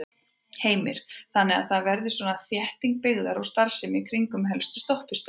Heimir: Þannig að það verði svona þétting byggðar og starfsemi í kringum helstu stoppistöðvar?